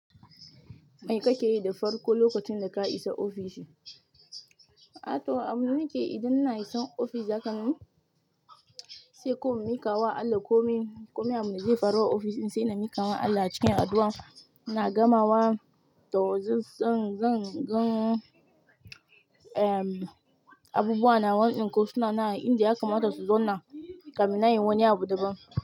Me kake yi da farko lokacin da ka isa ofishi? A to, abin nake idan na iso ofis, zakan yi sai ko in miƙa wa Allah komai, komai abu na zai faru a ofishin sai na miƙa wa Allah cikin addu'a, na gamawa da wasu zan, zan, zan, am abubuwa na wannan ko suna nan inda ya kamata su zauna kafinnan nayi wani abu daban.